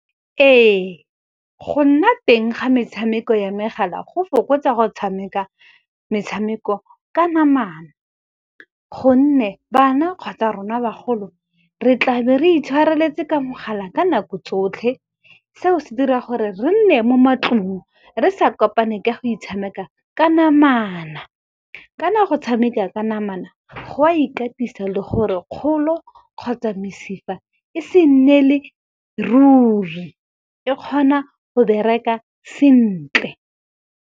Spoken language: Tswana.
Ee, go nna teng ga metshameko ya megala go fokotsa go tshameka metshameko ka namana. Gonne bana kgotsa rona bagolo, re tla be re itshwareletse ka mogala ka nako tsotlhe, seo se dira gore re nne mo matlong re sa kopane ke go itshameka ka namana. Kana go tshameka ka namana go a ikatisa le gore kgolo kgotsa mesifa e se nnele ruri, e kgona go bereka sentle.